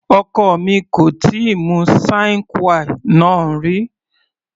Ọkọ mi kò tíì mu sine qua non rí.